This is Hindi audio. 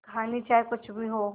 कहानी चाहे कुछ भी हो